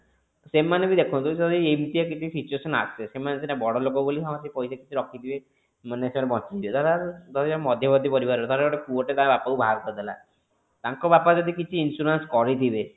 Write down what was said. ସେମାନେ ବି ଦେଖନ୍ତୁ ଯଦି ଏମିତି କ କିଛି situation ଆସେ ସେମାନେ ସିନା ବଡ ଲୋକ ବୋଲି ହଁ ସେ ପଇସା କିଛି ରଖିଥିବେ ମାନେ ସିଏ ବଞ୍ଚିଯିବେ ଧର ଧର ଗୋଟେ ମଧ୍ୟବର୍ତି ପରିବାର ର ଧର ଗୋଟେ ପୁଅ ଟେ ତା ବାପାକୁ ବାହାର କରିଦେଲା ତାଙ୍କ ବାଲା ଯଦି କିଛି insurance କରିଥିବେ